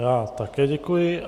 Já také děkuji.